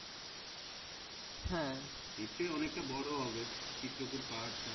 হ্যাঁ নিশ্চয় অনেকটা বরো হবে। চিত্রকূট পাহাড়টা।